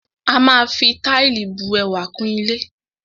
A máa fi Táìlì bu ẹwà kún ilé